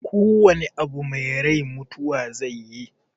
Ko wana abu mai rai mutuwa zaiyi